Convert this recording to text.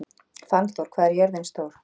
Fannþór, hvað er jörðin stór?